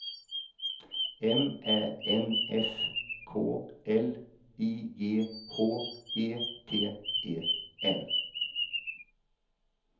M Ä N S K L I G H E T E N